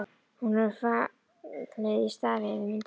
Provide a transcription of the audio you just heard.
Hún hefur fallið í stafi yfir myndinni.